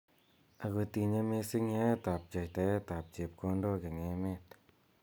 Ako tinye missing yaet ab pchetaet ap chepkondok eng emet .